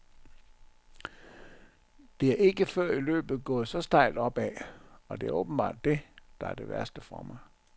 Det er ikke før i løbet gået så stejlt opad, og det er åbenbart det, der er det værste for mig.